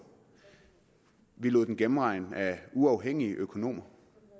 vi lod den gennemregne af uafhængige økonomer